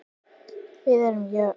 Við erum jöfn.